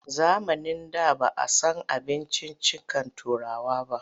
Zamanin da ba a san abinciccikan Turawa ba.